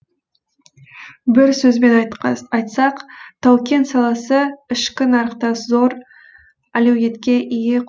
бір сөзбен айтсақ тау кен саласы ішкі нарықта зор әлеуетке ие